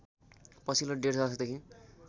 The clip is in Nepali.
पछिल्लो डेढ दशकदेखि